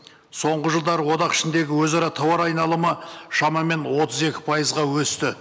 соңғы жылдары одақ ішіндегі өзара тауар айналымы шамамен отыз екі пайызға өсті